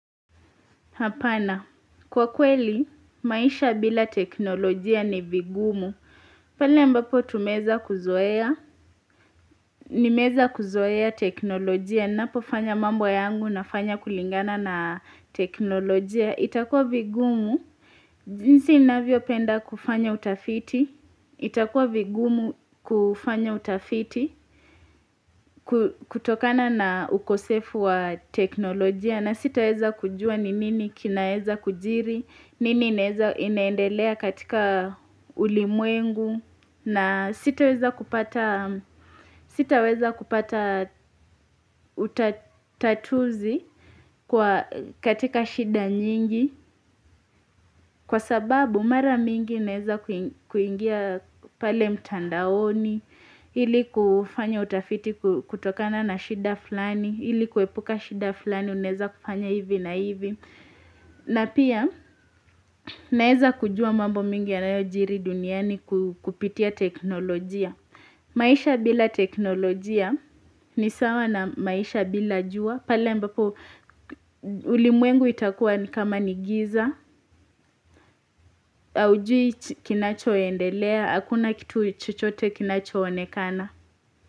Kwa kweli, maisha bila teknolojia ni vigumu. Pale ambapo tumezakuzoea, nimezakuzoea teknolojia, napo fanya mambo yangu na fanya kulingana na teknolojia. Itakua vigumu, jinsi inavyopenda kufanya utafiti, itakua vigumu kufanya utafiti, kutokana na ukosefu wa teknolojia. Na sitaweza kujua ni nini kinaeza kujiri, nini ineendelea katika ulimwengu, na sitaweza kupata utatuzi katika shida nyingi, kwa sababu mara mingi ineza kuingia pale mtandaoni, ili kufanya utafiti kutokana na shida flani, ili kuepuka shida flani, unezakufanya hivi na hivi. Na pia, naeza kujua mambo mingi ya nayojiri duniani kupitia teknolojia. Maisha bila teknolojia, ni sawa na maisha bila jua. Pale ambapo, ulimwengu itakuwa ni kama ni giza, aujui kinacho endelea, hakuna kitu chuchote kinacho onekana.